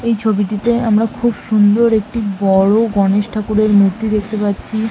এই ছবিটিতে আমরা খুব সুন্দর একটি বড়-ও গণেশ ঠাকুরের মূর্তি দেখতে পাচ্ছি।